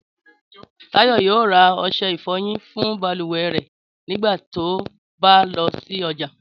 Táyọ̀ yóò ra ọṣẹ ìfọyín fún balùwẹ̀ rẹ̀ nígbà tó bá lọ sí ọjà